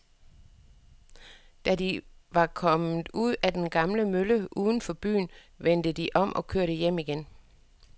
Da de var kommet ud til den gamle mølle uden for byen, vendte de om og kørte hjem igen.